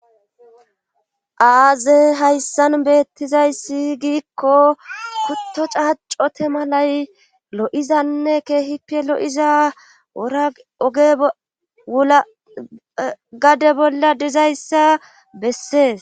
aaze hayssan beettizayssi giikko kutto caaccote malay lo7izanne keehipe lo7iza ora oge agade bolla dizayssa bessees